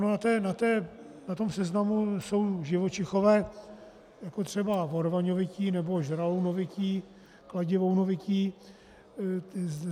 Na tom seznamu jsou živočichové, jako třeba vorvaňovití nebo žralounovití, kladivounovití.